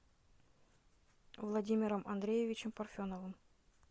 владимиром андреевичем парфеновым